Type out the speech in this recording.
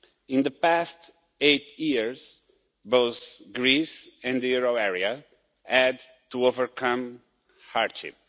In the past eight years, both Greece and the euro area had to overcome hardship.